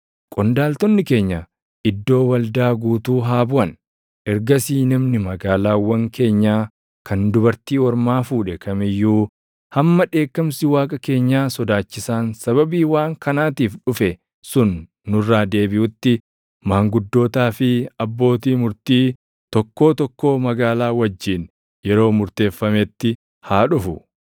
Qondaaltonni keenya iddoo waldaa guutuu haa buʼan. Ergasii namni magaalaawwan keenyaa kan dubartii ormaa fuudhe kam iyyuu hamma dheekkamsi Waaqa keenyaa sodaachisaan sababii waan kanaatiif dhufe sun nurraa deebiʼutti maanguddootaa fi abbootii murtii tokkoo tokkoo magaalaa wajjin yeroo murteeffametti haa dhufu.”